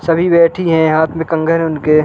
सभी बैठी हैं हाथ में कंगन उनके।